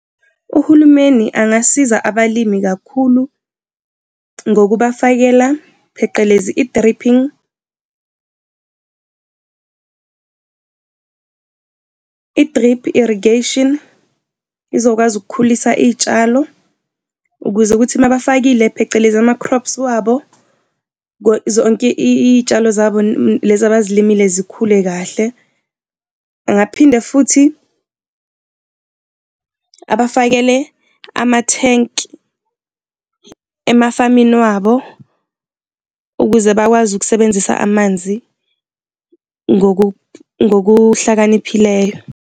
Uhulumeni angasiza abalimi kakhulu ngokubafakela, pheqelezi, i-dripping . I-drip irrigation izokwazi ukukhulisa izitshalo ukuze ukuthi uma bafakile phecelezi ama-crops wabo zonke iy'tshalo zabo lezi abazilimile zikhule kahle. Angaphinda futhi abafakele amathenki emafamini wabo ukuze bakwazi ukusebenzisa amanzi ngokuhlakaniphileyo.